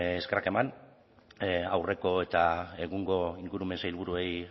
eskerrak eman aurreko eta egungo ingurumen sailburuei